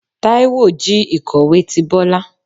Taíwo jí ikọwe tí Bọla